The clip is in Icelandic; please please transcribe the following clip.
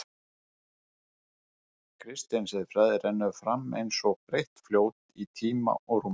Kristin siðfræði rennur fram eins og breitt fljót í tíma og rúmi.